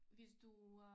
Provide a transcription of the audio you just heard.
Hvis du øh